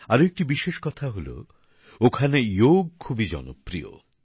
আরেকটি বিশেষ কথা হল ওখানে যোগ অনেক জনপ্রিয়